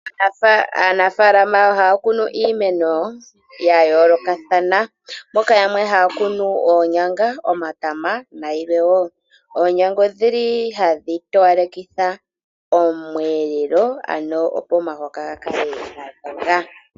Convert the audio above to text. Aanafaalama ohaya kunu iimeno yayoolokathana, moka yamwe haya kunu oonyanga, omatama nayilwe woo. Oonyanga odhili hadhi towalekitha omweelelo ano opo omahoka gakale gadhonga.